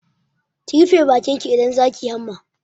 Ki rufe bakin ki idan za ki yi hamma!